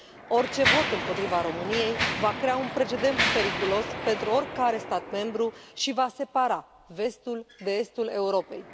Orice vot împotriva României va crea un precedent periculos pentru oricare stat membru și va separa vestul de estul Europei.